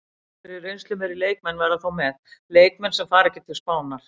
Einhverjir reynslumeiri leikmenn verða þó með, leikmenn sem fara ekki til Spánar.